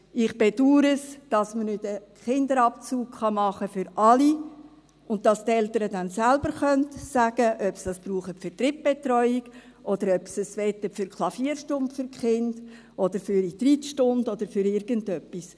Ich bedauere es, dass man keinen Kinderabzug für alle machen kann, bei dem die Eltern dann selbst sagen können, ob sie es für Drittbetreuung brauchen wollen, für die Klavierstunde für die Kinder oder für die Reitstunden oder für irgendetwas.